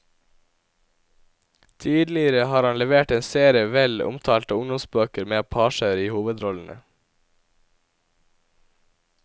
Tidligere har han levert en serie vel omtalte ungdomsbøker med apacher i hovedrollene.